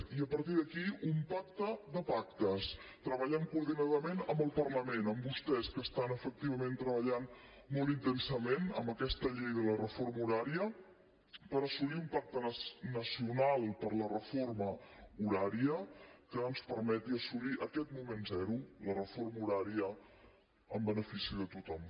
i a partir d’aquí un pacte de pactes treballant coordinadament amb el parlament amb vostès que efectivament treballen molt intensament en aquesta llei de la reforma horària per assolir un pacte nacional per la reforma horària que ens permeti assolir aquest moment zero la reforma horària en benefici de tothom